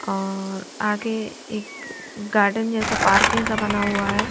और आगे एक अ गार्डन जैसा पार्क जैसा बना हुआ है।